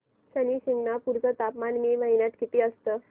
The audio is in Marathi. शनी शिंगणापूर चं तापमान मे महिन्यात किती असतं